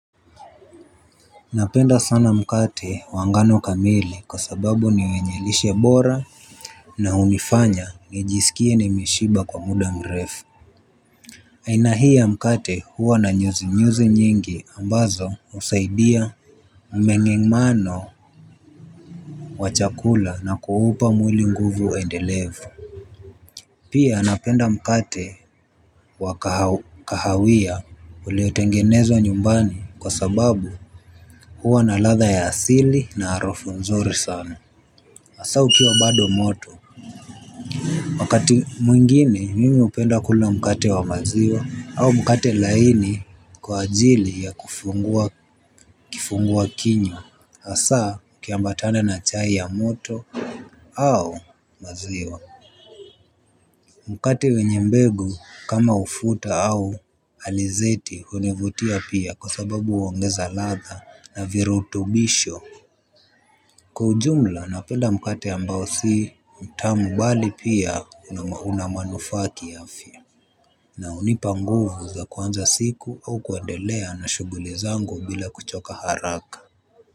Napenda sana mkate wa ngano kamili kwa sababu ni wenye lishe bora na hunifanya nijiskie nimeshiba kwa muda mrefu. Aina hii ya mkate huwa na nyuzi nyuzi nyingi ambazo husaidia mmengemano wa chakula na kuupa mwili nguvu endelevu. Pia napenda mkate wa kahawia uliotengenezwa nyumbani kwa sababu huwa na ladha ya asili na harufu nzuri sana hasa ukiwa bado moto. Wakati mwingine mimi hupenda kula mkate wa maziwa au mkate laini kwa ajili ya kifungua kinywa hasa ikiambatana na chai ya moto au maziwa. Mkate wenye mbegu kama ufuta au alizeti hunivutia pia kwa sababu huongeza ladha na virutubisho. Kwa ujumla napenda mkate ambao sii mtamu bali pia una manufaa kiafya. Na hunipa nguvu za kuanza siku au kuendelea na shughuli zangu bila kuchoka haraka.